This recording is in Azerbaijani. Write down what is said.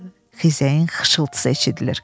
Xizəyin xışıltısı eşidilir.